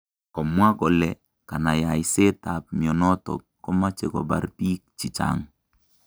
Komwa kole kanayaiseet ab mionotok komache kobar biik chichang